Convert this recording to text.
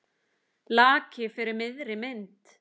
Laki fyrir miðri mynd.